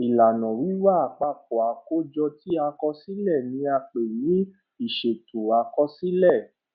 ìlànà wíwá àpapọ àkójọ ti àkọsílẹ ni a pè ní ìṣètò àkọsílẹ